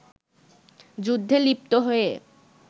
যুদ্ধে লিপ্ত হয়ে